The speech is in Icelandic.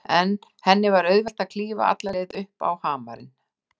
Eftir henni var auðvelt að klífa alla leið upp á hamarinn.